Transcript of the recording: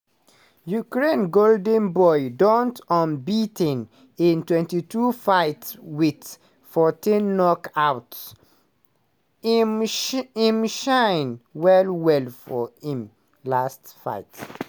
ukraine golden boy don unbea ten in 22 fights wit 14 knockouts - im shine shine well-well for im last fight.